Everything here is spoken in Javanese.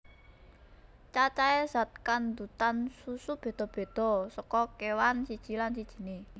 Cacahé zat kandhutan susu béda béda saka kéwan siji lan sijiné